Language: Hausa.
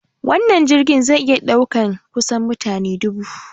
Wannan jirgin zai iya ɗaukar kusan mutane dubu.